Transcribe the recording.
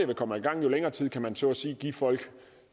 vi kommer i gang jo længere tid kan man så at sige give folk